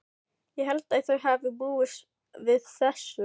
Ég held að þau hafi búist við þessu.